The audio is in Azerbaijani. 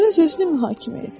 Onda öz-özünü mühakimə et.